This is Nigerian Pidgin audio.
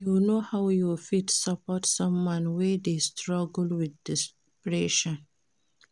You know how you fit support someone wey dey struggle wit depression?